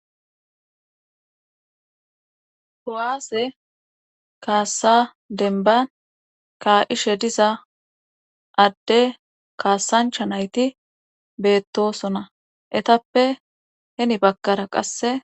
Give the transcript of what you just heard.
ho7aase kaassa denban ka ishe diza adde kaasancha nayti beettosona etappe heni bakkara qasse...